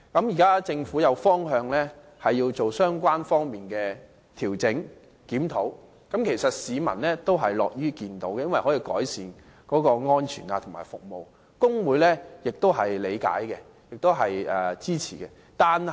現時政府定出方向，計劃進行有關的調整和檢討，市民也是樂見的，因這可以改善巴士的安全和服務，工會也是理解和支持的。